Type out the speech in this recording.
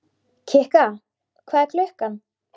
Kikka, hvað er klukkan?